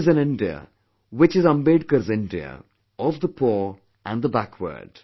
It is an India which is Ambedkar's India, of the poor and the backward